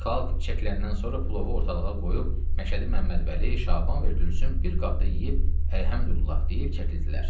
Xalq çəkiləndən sonra plovu ortalığa qoyub Məşədi Məmmədvəli, Şaban və Gülsüm bir qabda yeyib, əlhəmdüllah deyib çəkildilər.